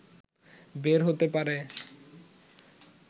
বের হতে পারে